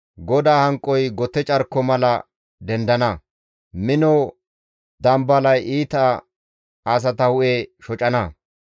GODAA hanqoy gote carko mala dendana; mino dambalay iita asata hu7e shocana.